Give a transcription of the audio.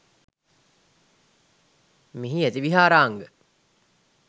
මෙහි ඇති විහාරාංග